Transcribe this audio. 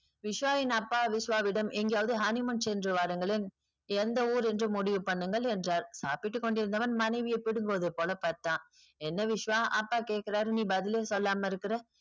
விஷ்வாவின் அப்பா விஷ்வாவிடம் எங்காவது honeymoon சென்று வாருங்களேன் எந்த ஊர் என்று முடிவு பண்ணுங்கள் என்றார் சப்பிட்டுக்கொண்டிருந்தவன் மனைவியை பிடுங்குவது போல பார்த்தான் என்ன விஷ்வா அப்பா கேக்குராறு இருக்காரு நீ பதிலே சொல்லாம இருக்க